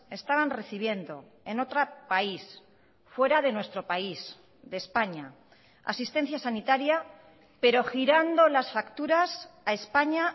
estaban recibiendo en otro país fuera de nuestro país de españa asistencia sanitaria pero girando las facturas a españa